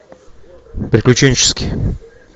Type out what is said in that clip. приключенческий